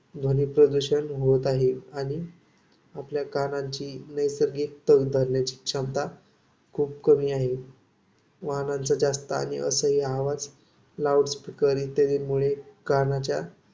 ध्वनिप्रदूषण होत आहे. आणि आपल्या कानांची नैसर्गिक तग धरण्याची क्षमता खूप कमी आहे. वाहनांचा जास्त आणि असह्य आवाज लाऊड स्पीकर इत्यादींमुळे कानाच्या